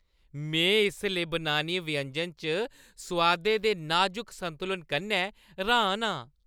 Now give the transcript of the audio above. में इस लेबनानी व्यंजन च सोआदें दे नाज़ुक संतुलन कन्नै र्‌हान आं।